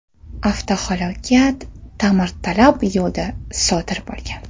Avtohalokat ta’mirtalab yo‘lda sodir bo‘lgan.